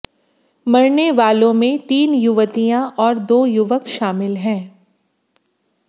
मरने वालों में तीन युवतियां और दो युवक शामिल हैं